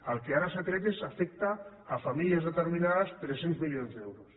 el que ara s’ha tret afecta famílies determinades tres cents milions d’euros